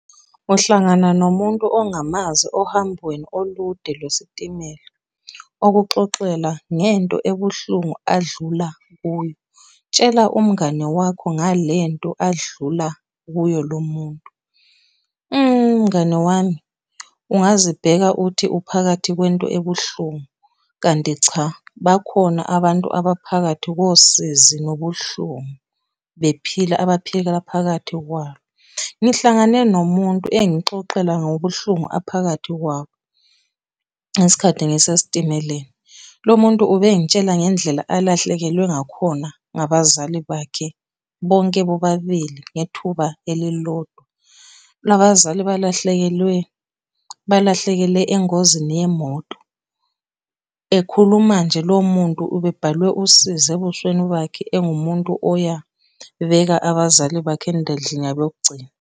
Uhlangana nomuntu ongamazi ohambweni olude lwesitimela okuxoxela ngento ebuhlungu adlula kuyo. Tshela umngane wakho ngalento adlula kuyo lo muntu. Mngani wami, ungazibheka uthi uphakathi kwento ebuhlungu, kanti cha bakhona abantu abaphakathi kosizi nobuhlungu bephila abaphikelela phakathi kwalo. Ngihlangane nomuntu engixoxela ngobuhlungu aphakathi kwabo ngesikhathi ngisesitimeleni. Lo muntu ubengitshele ngendlela alahlekelwe ngakhona ngabazali bakhe, bonke bobabili ngethuba elilodwa. Laba zali balahlekelwe, balahlekele engozini yemoto, ekhuluma nje lowo muntu ube bhalwe usizi ebusweni bakhe engumuntu oya beka abazali bakhe endlini yabo yokugcina.